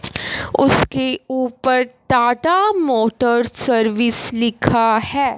उसके ऊपर Tata Motors service लिखा है।